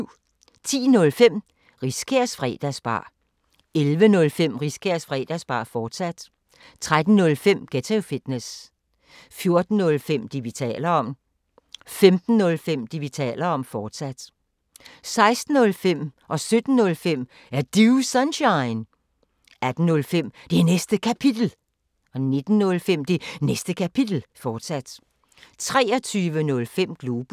10:05: Riskærs Fredagsbar 11:05: Riskærs Fredagsbar, fortsat 13:05: Ghetto Fitness 14:05: Det, vi taler om 15:05: Det, vi taler om, fortsat 16:05: Er Du Sunshine? 17:05: Er Du Sunshine? 18:05: Det Næste Kapitel 19:05: Det Næste Kapitel, fortsat 23:05: Globus